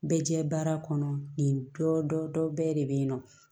Bɛ jɛ baara kɔnɔ nin dɔ bɛɛ de bɛ yen nɔ